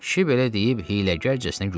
Kişi belə deyib hiyləgərcəsinə güldü.